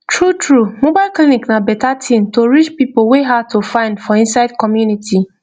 truetrue mobile clinic na better thing to reach people wey hard to find for inside community